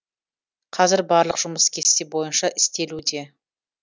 қазір барлық жұмыс кесте бойынша істелуде